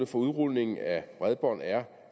for udrulningen af bredbånd er